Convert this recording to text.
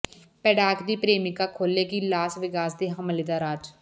Paddock ਦੀ ਪ੍ਰੇਮਿਕਾ ਖੋਲੇਗੀ ਲਾਸ ਵੇਗਾਸ ਦੇ ਹਮਲੇ ਦਾ ਰਾਜ